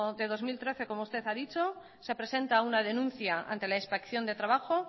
de dos mil trece como usted ha dicho se presenta una denuncia ante la inspección de trabajo